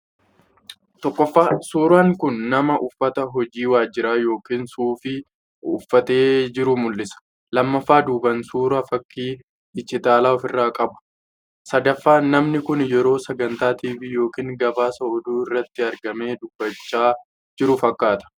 1.Suuraan kun nama uffata hojii waajjiraa yookiin suufii uffatee jiruu mul'isa. 2.Duubaan suuraa, fakkii digitaalaa of irraa qaba. 3.Namni kun yeroo sagantaa TV yookaan gabaasa oduu irratti argamee dubbachaa jiru fakkaata.